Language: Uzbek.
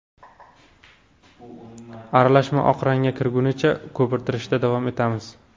Aralashma oq rangga kirgunicha ko‘pirtirishda davom etamiz.